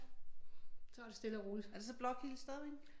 Vi tager det stille og roligt